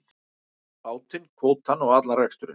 Bátinn, kvótann og allan reksturinn.